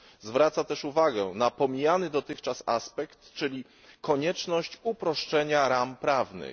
Zwraca też uwagę na pomijany dotychczas aspekt, czyli konieczność uproszczenia ram prawnych.